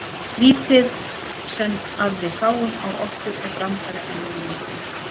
Vítið sem að við fáum á okkur er brandari að mínu mati.